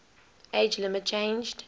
age limit changed